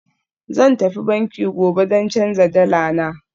Zan tafi banki gobe don canza dala na